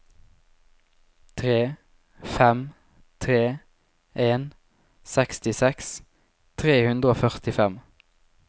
tre fem tre en sekstiseks tre hundre og førtifem